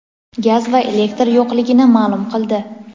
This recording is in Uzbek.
gaz va elektr yo‘qligini ma’lum qildi.